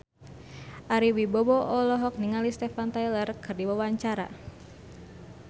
Ari Wibowo olohok ningali Steven Tyler keur diwawancara